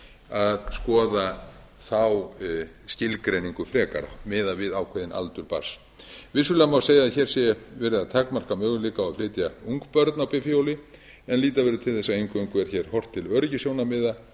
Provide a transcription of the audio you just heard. að skoða þá skilgreiningu frekar miða við ákveðinn aldur barns vissulega má segja að hér sé verið að takmarka möguleika á að flytja ung börn á bifhjól en líta verður til þess að eingöngu er hér horft til öryggissjónarmiða